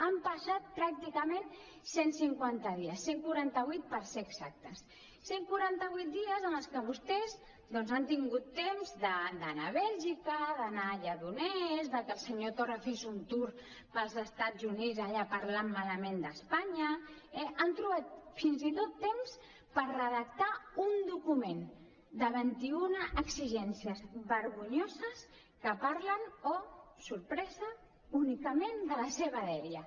han passat pràcticament cent cinquanta dies cent i quaranta vuit per ser exactes cent i quaranta vuit dies en els que vostès doncs han tingut temps d’anar a bèlgica d’anar a lledoners de que el senyor torra fes un tour pels estats units allà parlant malament d’espanya eh han trobat fins i tot temps per redactar un document de vint i una exigències vergonyoses que parlen oh sorpresa únicament de la seva dèria